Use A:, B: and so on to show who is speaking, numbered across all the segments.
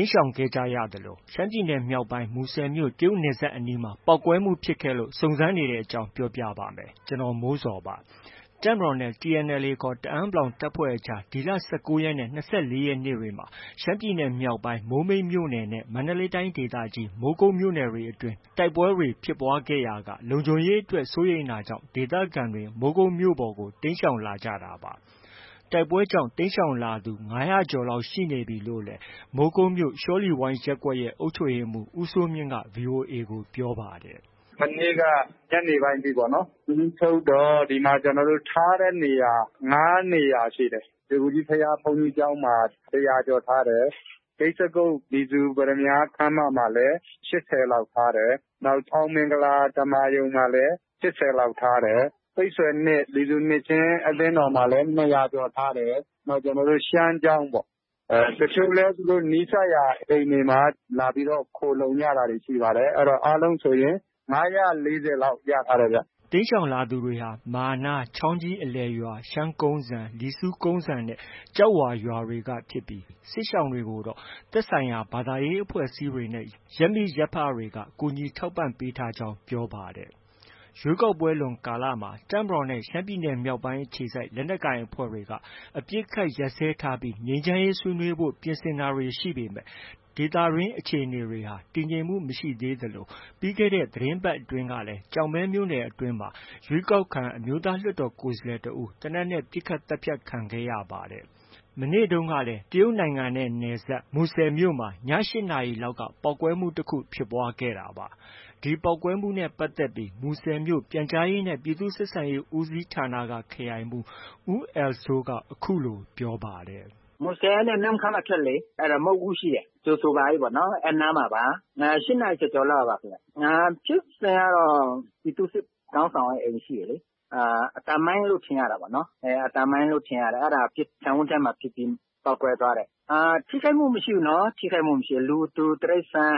A: မ်းရှောင်ခဲ့ကြရသလို၊ ရှမ်းပြည်နယ်မြောက်ပိုင်း မူဆယ်မြို့ တရုတ်နယ်စပ်အနီးမှာ ပေါက်ကွဲမှုဖြစ်ခဲ့လို့ စုံစမ်းနေတဲ့အကြောင်းကို ဗွီအိုအေမြန်မာပိုင်း သတင်းထောက်ကိုမိုးဇော်က ပြောပြပါမယ်။ တပ်မတော်နဲ့ TNLA ခေါ် တအန်း(ပလောင်) တပ်ဖွဲ့အကြား ဒီလ ၁၉ ရက်နဲ့ ၂၄ ရက်နေ့တွေမှာ ရှမ်းပြည်နယ်မြောက်ပိုင်း မိုးမိတ်မြို့နယ်နဲ့ မန္တလေးတိုင်းဒေသကြီး မိုးကုတ်မြို့နယ်တွေအတွင်း တိုက်ပွဲတွေ ဖြစ်ပွားခဲ့ရာက လုံခြုံရေးအတွက်စိုးရိမ်တာကြောင့် ဒေသခံတွေ မိုးကုတ်မြို့ပေါ်ကို တိမ်းရှောင်လာကြတာပါ။ တိုက်ပွဲတွေကြောင့် တိမ်းရှောင်လာသူ ၅၀၀ ကျော်လောက် ရှိနေပြီလို့လည်း မိုးကုတ်မြို့ ရှောလီဝိုင်းရပ်ကွက်ရဲ့ အုပ်ချုပ်ရေးမှုး ဦးစိုးမြင့်က VOA ကို ပြောပါတယ်။
B: “မနေ့က ညနေပိုင်းထိ စာရင်းချုပ်တော့ ဒီမှာ ကျနော်တို့ ထားတဲ့နေရာ ၅နေရာရှိတယ်။ ရွှေဂူကြီးဘုရား ဘုန်းကြီးကျောင်းမှာ ၁၀၀ ကျော်ထားတယ်။ ဂိဇ္ဈိကုဋ် လီဆူပတ္တမြားခန်းမမှာလည်း ၈၀ လောက် ထားတယ်။ နောက် အောင်မင်္ဂလာ ဓမ္မာရုံမှာလည်း ၈၀ လောက် ထားတယ်။ ပိတ်ဆွယ် ၂ လီဆူနှစ်ခြင်း အသင်းတော်မှာလည်း ၂၀၀ ကျော် ထားတယ်။ နောက် ကျနော်တို့ ရှမ်းကျောင်းပေါ့၊ တချို့လည်း နီးစပ်ရာအိမ်တွေမှာ လာပြီးတော့ ခိုလှုံကြတာတွေ ရှိပါတယ်။ အားလုံးဆိုရင် ၅၄၀ လောက် ရထားတယ်ဗျ။
A: ” တိမ်းရှောင်လာသူတွေဟာ မာနား၊ ချောင်းကြီးအလယ်ရွာ၊ ရှမ်းကုန်းစံ၊ လီဆူကုန်းစံနဲ့ ကျောက်ဝါရွာတွေက ဖြစ်ပြီး စစ်ရှောင်တွေကိုတော့ သက်ဆိုင်ရာ ဘာသာရေးအဖွဲ့အစည်းတွေနဲ့ ရပ်မိရပ်ဖတွေက ကူညီထောက်ပံ့ပေးထားကြောင်း ပြောပါတယ်။ ရွေးကောက်ပွဲလွန်ကာလမှာ တပ်မတော်နဲ့ ရှမ်းပြည်နယ်မြောက်ပိုင်းအခြေစိုက် လက်နက်ကိုင်အဖွဲ့တွေက အပစ်ခတ်ရပ်စဲထားပြီး ငြိမ်းချမ်းရေးဆွေးနွေးဖို့ ပြင်ဆင်တာတွေ ရှိပေမဲ့ ဒေသတွင်းအခြေအနေတွေဟာ တည်ငြိမ်မှု မရှိသေးသလို ပြီးခဲ့တဲ့ သီတင်းပတ်အတွင်းကလည်း ကျောက်မဲမြို့နယ်အတွင်းမှာ ရွေးကောက်ခံ အမျိုးသားလွှတ်တော် ကိုယ်စားလှယ်တစ်ဦး သေနတ်နဲ့ပစ်ခတ် သတ်ဖြတ်ခံခဲ့ရပါတယ်။ မနေ့တုန်းကလည်း တရုတ်နိုင်ငံနဲ့နယ်စပ် မူဆယ်မြို့မှာ ည ၈ နာရီလောက်က ပေါက်ကွဲမှုတခု ဖြစ်ပွားခဲ့တာပါ။ ဒီပေါက်ကွဲမှုနဲ့ ပတ်သက်ပြီး မူဆယ်မြို့ ပြန်ကြားရေးနဲ့ ပြည်သူ့ဆက်ဆံရေးဦးစီးဌာနက ခရိုင်မှုး ဦးအယ်လ်စိုးက အခုလို ပြောပါတယ်။
B: “မူဆယ်ကနေ နမ့်ခမ်းအထွက်လေ အဲဒါမုဒ်ဦး ရှိတယ်လေ... ကြိ
A: ုဆိုပါ၏ ပေါ့။ အဲဒီနားမှာပါ။ ၈ နာရီကျော်ကျော်လောက်ပေါ့။ ဖြစ်စဉ်ကတော့ ပြည်သူ့စစ်ခေါင်းဆောင်ရဲ့ အိမ်ရှိတယ်လေ။ အသံမိုင်းလို့ ထင်ရတာပေါ့နော်။ အသံမိုင်းလို့ ထင်ရတယ်။ အဲဒါ ခြံဝင်းထဲမှာ ပစ်ပြီး
B: ပေါက်ကွဲသွားတယ်
A: ။ ထိခိုက်မှု မရှိဘူးနော်။ လူသူ၊ တိရိစ္ဆာန်...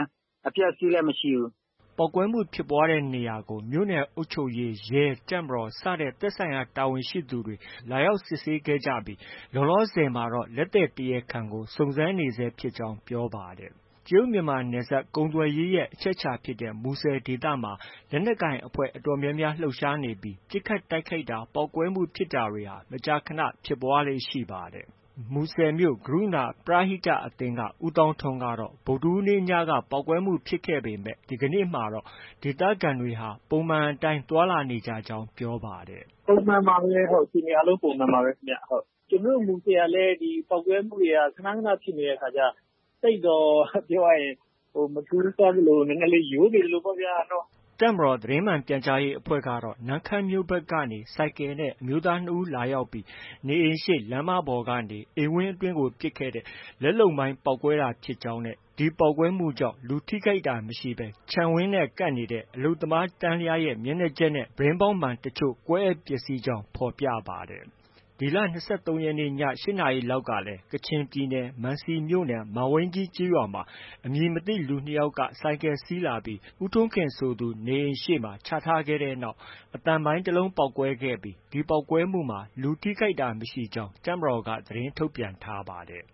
A: အပျက်အစီးလည်း မရှိဘူး။” ပေါက်ကွဲမှုဖြစ်ပွားရာနေရာကို မြို့နယ်အုပ်ချုပ်ရေး၊ ရဲ၊ တပ်မတော်စတဲ့ သက်ဆိုင်ရာတာဝန်ရှိသူတွေကို လာရောက်စစ်ဆေးခဲ့ကြပြီး လောလောဆယ်မှာတော့ လက်သည်တရားခံကို စုံစမ်းနေဆဲရှိကြောင်း ပြောပါတယ်။ တရုတ် မြန်မာ နယ်စပ်ကုန်သွယ်ရေးရဲ့ အချက်အခြာ ဖြစ်တဲ့ မူဆယ်ဒေသမှာ လက်နက်ကိုင်အဖွဲ့ အတော်များများ လှုပ်ရှားနေပြီး ပစ်ခတ်တိုက်ခိုက်တာ၊ ပေါက်ကွဲမှုဖြစ်တာတွေဟာ မကြာခန ဖြစ်ပွားလေ့ ရှိပါတယ်။ မူဆယ်မြို့ ဂရုဏာ ပရဟိတအသင်းက ဦးသောင်းထွန်းကတော့ ဗုဒ္ဓဟူးနေ့ညက ပေါက်ကွဲမှုဖြစ်ခဲ့ပေမဲ့ ဒီကနေ့မှာတော့ ဒေသခံတွေဟာ ပုံမှန်အတိုင်း သွားလာနေကြကြောင်း ပြောပါတယ်။ “ပုံမှန်ပါပဲ။ အခြေအနေအားလုံး ပုံမှန်ပါပဲ။ ကျနော်တို့ မူဆယ်ကလည်း ဒီပေါက်ကွဲမှုတွေက ခန၊ ခန ဖြစ်နေတဲ့အခါကျ သိပ်မထူးဆန်းသလို၊ ပြောရရင် နည်းနည်းလေး ရိုးနေသလိုပေါ့ဗျာ။” တပ်မတော်သတင်းမှန်ပြန်ကြားရေးအဖွဲ့ကတော့ နမ့်ခမ်းမြို့ဘက်ကနေ ဆိုင်ကယ်နဲ့ အမျိုးသား ၂ ဦးလာရောက်ပြီး နေအိမ်ရှေ့လမ်းမပေါ်ကနေ အိမ်ဝန်းအတွင်းကို ပစ်ခဲ့တဲ့ လက်လုပ်မိုင်းပေါက်ကွဲတာဖြစ်ကြောင်းနဲ့ ပေါက်ကွဲမှုကြောင့် လူထိခိုက်တာ မရှိဘဲ ခြံဝန်းနဲ့ ကပ်နေတဲ့ အလုပ်သမားတန်းလျားရဲ့ မျက်နှာကျက်နဲ့ ပြတင်းပေါက်မှန် တချို့ ကွဲအက်ပျက်ဆီးခဲ့ကြောင်းဖော်ပြပါတယ်။ ဒီလ ၂၃ ရက်နေ့ည ၈နာရီလောက်ကလည်း ကချင်ပြည်နယ်၊ မန်စီမြို့နယ် မန်ဝိန်းကြီးကျေးရွာမှာ အမည်မသိ လူ၂ ယောက်က ဆိုင်ကယ်စီးလာပြီး ဦးထွန်းခင်ဆိုသူနေအိမ်ရှေ့မှာ ချထားခဲ့တဲ့နောက် အသံမိုင်း တစ်လုံးပေါက်ကွဲခဲ့ကြောင်းနဲ့ ဒီပေါက်ကွဲမှုမှာ လူထိခိုက်တာမရှိကြောင်း တပ်မတော်က သတင်းထုတ်ပြန်ထားပါတယ်